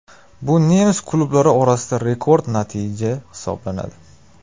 Bu nemis klublari orasida rekord natija hisoblanadi .